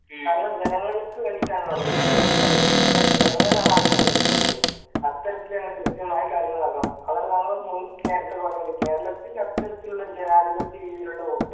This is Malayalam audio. കാരണം ജനങ്ങൾക്ക് വേണ്ടിട്ടാണല്ലോ ഭരിക്കുന്നത് അപ്പോ ജനങ്ങളാണ് അവരെ തിരഞ്ഞെടുക്കേണ്ടത് അത്തരത്തിൽ തന്നെ കൃത്യമായി കാര്യങ്ങൾ നോക്കാം അതാണ് ഞാൻ നേരത്തെ പറഞ്ഞത് കേരളത്തില് അത്തരത്തിലുള്ള ജനാധിപത്യ രീതിയിലുള്ള വോട്ട്